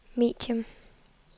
medium